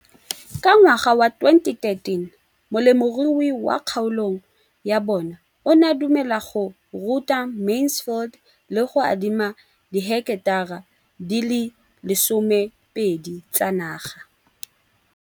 Ka ngwaga wa 2013, molemirui mo kgaolong ya bona o ne a dumela go ruta Mansfield le go mo adima di heketara di le 12 tsa naga.